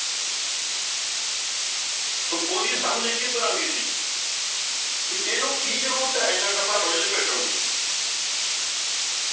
ਉਹਦੀ ਸਮਝ ਕਿਸ ਤਰ੍ਹਾਂ ਦੀ ਸੀ ਵੀ ਇਹਨੂੰ ਕੀ ਜ਼ਰੂਰਤ ਆ, ਏਨਾ ਕੱਪੜਾ ਰੋਜ਼ ਲਪੇਟਣ ਦੀ।